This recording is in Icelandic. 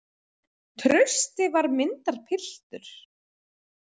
Trausti var myndarpiltur.